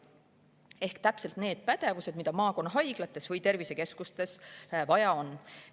Need on täpselt need pädevused, mida maakonnahaiglates või tervisekeskustes vaja on.